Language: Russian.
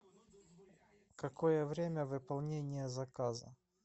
какое время выполнения заказа